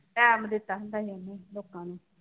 time ਦਿੱਤਾ ਹੀ ਲੋਕਾਂ ਨੂੰ